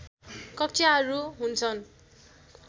कक्षाहरू हुन्छन्